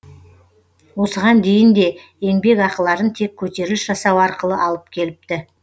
осыған дейін де еңбекақыларын тек көтеріліс жасау арқылы алып келіпті